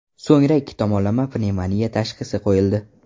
So‘ngra ikki tomonlama pnevmoniya tashxisi qo‘yildi.